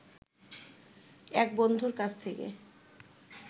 এক বন্ধুর কাছ থেকে